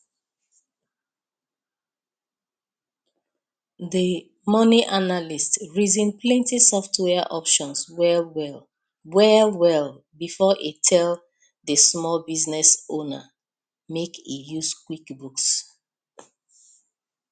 the money analyst reason plenty software options wellwell wellwell before e tell the small business owner make e use quickbooks